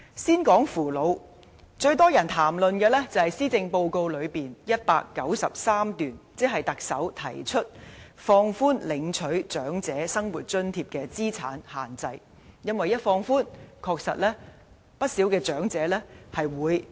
先談扶老方面，最多人談論的是施政報告第193段，即放寬領取長者生活津貼的資產上限，因為一旦放寬，確實可讓不少長者受惠。